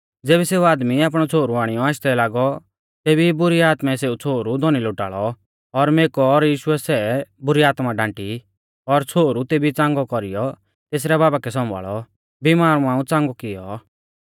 ज़ेबी सेऊ आदमी आपणै छ़ोहरु आणियौ आशदै लागौ तेबी ई बुरी आत्मै सेऊ छ़ोहरु धौनी लोटाल़ौ और मेकौ पर यीशुऐ सै बुरी आत्मा डांटी और छ़ोहरु तेबी च़ांगौ कौरीयौ तेसरै बाबा कै सौंभाल़ौ बिमार मांऊ च़ांगौ कियौ